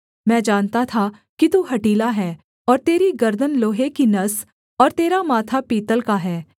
मैं जानता था कि तू हठीला है और तेरी गर्दन लोहे की नस और तेरा माथा पीतल का है